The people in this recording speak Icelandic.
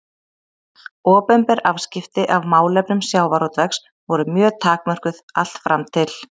Opinber afskipti af málefnum sjávarútvegs voru mjög takmörkuð allt fram til